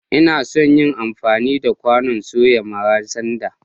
Ina son yin amfani da kwanon soya mara sanda.